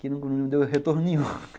Que não deu retorno nenhum